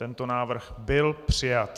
Tento návrh byl přijat.